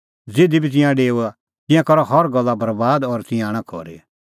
ज़िधी बी तिंयां डेओआ तिंयां करा हर गल्ला बरैबाद और तिंयां आणा खरी